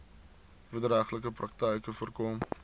wederregtelike praktyke voorkom